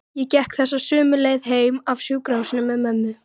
Ég gekk þessa sömu leið heim af sjúkrahúsinu með mömmu.